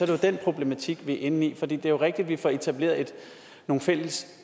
jo den problematik vi er inde i for det er jo rigtigt at vi får etableret nogle fælles